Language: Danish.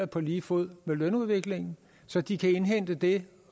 på lige fod med lønudviklingen så de kan indhente det